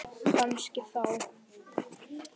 Kannski þá.